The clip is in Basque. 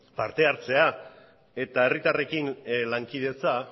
partehartzea eta herritarrekin lankidetza